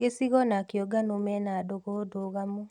Gĩcigo na kĩũngano mena ndũgũ ndũgamu